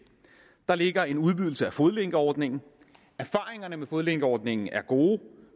der ligger en udvidelse af fodlænkeordningen erfaringerne med fodlænkeordningen er gode